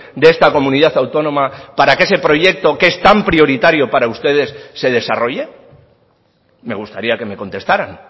de esta comunidad autónoma para que ese proyecto que es tan prioritario para ustedes se desarrolle me gustaría que me contestaran